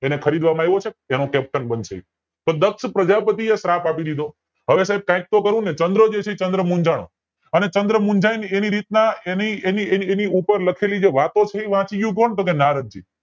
અને ખરીદ વામાં આવ્યો છે એનો CAPTAIN બનશે એ તો દક્ષ પ્રજાપતિ એ શ્રાપ આપી દીધો હવે સાયબ કાયક તો કરવું ને ચંદ્ર જે છે ચંદ્ર મુંજાણો ચંદ્ર મુંજાય ને એની રીત ના એની એની એની એની ઉપર લખેલી વાતો વાંચી ગયું કોણ ટોકે નારદ જી